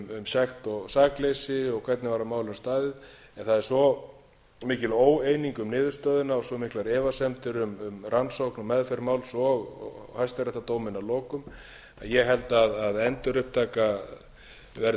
sekt og sakleysi og hvernig var að málum staðið en það er svo mikil óeining um niðurstöðuna og svo miklar efasemdir um rannsókn og meðferð máls og hæstaréttardóminn að lokum að ég held að endurupptaka verði